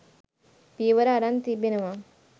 පියවර අරන් තිබෙනවා.